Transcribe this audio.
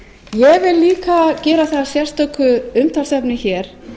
ég vil líka gera það að sérstöku umtalsefni hér